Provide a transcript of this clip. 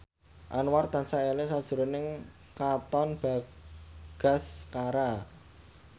Anwar tansah eling sakjroning Katon Bagaskara